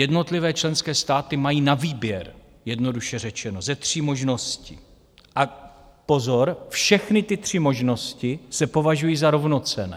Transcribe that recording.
Jednotlivé členské státy mají na výběr, jednoduše řečeno, ze tří možností - a pozor, všechny ty tři možnosti se považují za rovnocenné.